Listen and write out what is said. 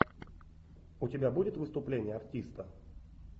у тебя будет выступление артиста